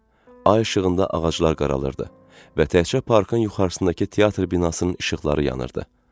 Ay işığında ağaclar qaralırdı və təkcə parkın yuxarısındakı teatr binasının işıqları yanırdı.